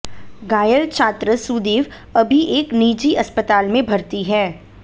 घायल छात्र सुदेव अभी एक निजी अस्पताल में भर्ती है